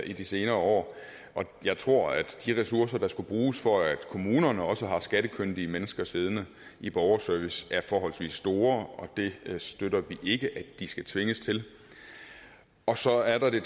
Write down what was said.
i de senere år jeg tror at de ressourcer der skal bruges for at kommunerne også har skattekyndige mennesker siddende i borgerservice er forholdsvis store og det støtter vi ikke at de skal tvinges til og så er der det